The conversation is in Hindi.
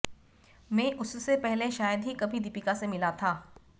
मैं उससे पहले शायद ही कभी दीपिका से मिला था